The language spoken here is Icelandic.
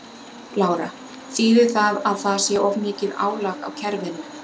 Lára: Þýðir það að það sé of mikið álag á kerfinu?